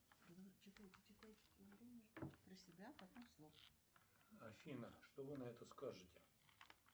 афина что вы на это скажете